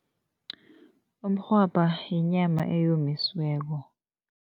Umrhwabha yinyama eyomisiweko.